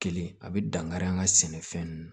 Kelen a bɛ dankari an ka sɛnɛfɛn ninnu